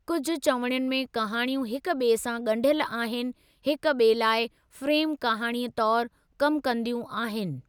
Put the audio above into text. कुझु चविणियुनि में कहाणियूं हिक ॿिए सां ॻंढियल आहिनि हिक ॿिए लाइ फ्रे़म कहाणीअ तौरु कमु कंदियूं आहिनि।